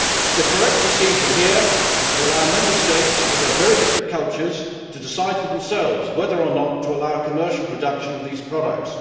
The correct procedure here is to allow Member States, with their very different cultures, to decide for themselves whether or not to allow commercial production of these products.